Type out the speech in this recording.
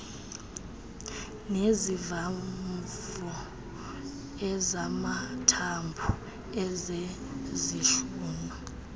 nezivamvo ezamathambo ezezihlunu